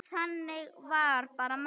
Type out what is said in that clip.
Þannig var bara mamma.